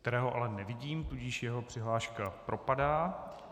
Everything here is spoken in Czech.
Kterého ale nevidím, tudíž jeho přihláška propadá.